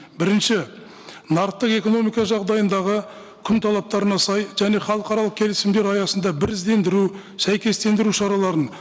бірінші нарықтық экономика жағдайындағы күн талаптарына сай және халықаралық келісімдер аясында біріздендіру сәйкестендіру шараларын